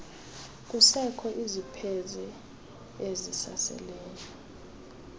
kusekho izipheze ezisaseleyo